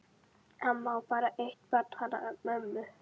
Amma á bara eitt barn, hana mömmu.